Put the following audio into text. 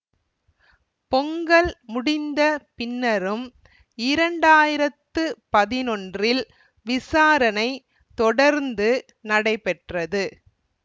பொங்கல் முடிந்த பின்னரும் இரண்டு ஆயிரத்தி பதினொன்றில் விசாரணை தொடர்ந்து நடைபெற்றது